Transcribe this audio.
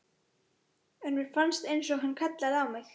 En mér fannst einsog hann kallaði á mig.